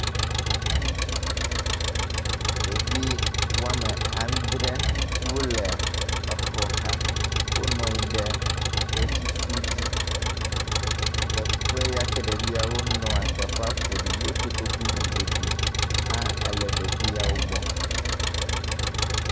Ɖevi wɔme adre wo le exɔ xa. Wonɔ anyi ɖe kletifu dzi. Teƒe ya ke ɖeviawo nɔ teƒea ƒoɖi ye kotoku ƒoɖi hã ele ɖeviawo gbɔ.